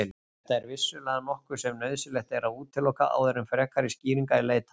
Þetta er vissulega nokkuð sem nauðsynlegt er að útiloka áður en frekari skýringa er leitað.